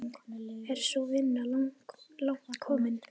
Er sú vinna langt komin.